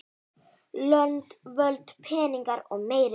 Lönd, völd, peningar og meiri peningar.